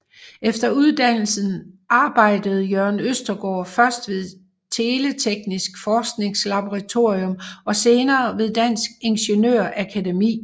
Efter uddannelsen arbejdede Jørgen Østergaard først ved Teleteknisk Forskningslaboratorium og senere ved Dansk Ingeniør Akademi